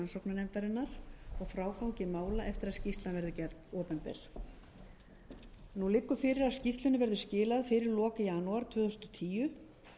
og frágangi mála eftir að skýrslan verður gerð opinber nú liggur fyrir að skýrslunni verður skilað fyrir lok janúar tvö þúsund og tíu